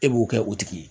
E b'o kɛ o tigi ye